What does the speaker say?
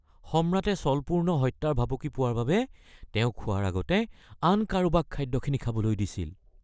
সম্ৰাটে ছলপূৰ্ণ হত্যাৰ ভাবুকি পোৱাৰ বাবে তেওঁ খোৱাৰ আগতে আন কাৰোবাক খাদ্যখিনি খাবলৈ দিছিল।